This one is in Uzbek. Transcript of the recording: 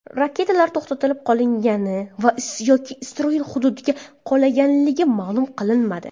Raketalar to‘xtatib qolingani yoki Isroil hududiga qulaganligi ma’lum qilinmadi.